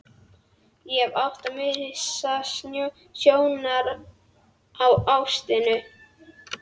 Ég hefði átt að missa sjónar á ástinni.